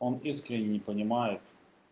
он искренне не понимает